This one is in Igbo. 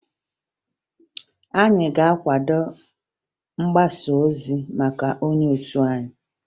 Anyị ga-akwado mgbasaozi maka onye otu anyị